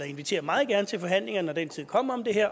inviterer meget gerne til forhandlinger når den tid kommer